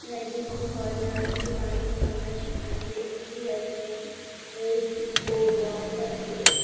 Lighting আছে ঝর্ণা আছে পানি ঝর্ণা আছে। সি.ডি আছে বো বক্স আছে।